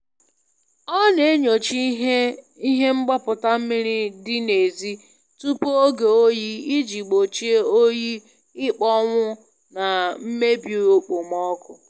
Ọ na-enyocha ihe ihe mgbaputa mmiri dị n'ezi tupu oge oyi iji gbochie oyi ịkpọnwụ na mmebi okpoko mmiri